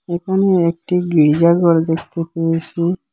এখানে একটি গির্জা ঘর দেখতে পেয়েছি।